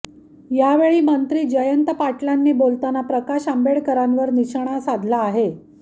यावर मंत्री जयंत पाटलांनी बोलताना प्रकाश आंबेडकरांवर निशाणा साधला आहे